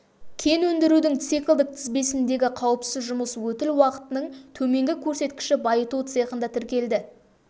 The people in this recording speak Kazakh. кен өндірудің циклдік тізбегіндегі қауіпсіз жұмыс өтіл уақытының төменгі көрсеткіші байыту цехында тіркелді